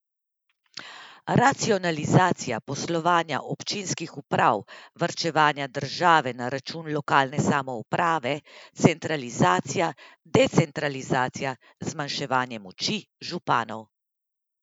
Racionalizacija poslovanja občinskih uprav, varčevanje države na račun lokalne samouprave, centralizacija, decentralizacija, zmanjševanje moči županov?